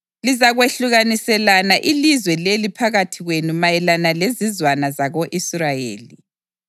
Lizakwahlukaniselana ilizwe leli phakathi kwenu mayelana lezizwana zako-Israyeli.